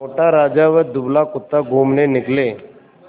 मोटा राजा व दुबला कुत्ता घूमने निकले